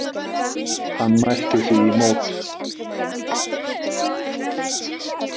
Hann mælti því í mót.